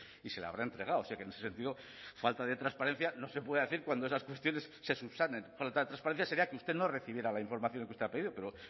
y se le habrá entregado o sea que en ese sentido falta de transparencia no se puede decir cuando esas cuestiones se subsanen falta de transparencia sería que usted no recibiera la información que usted ha pedido pero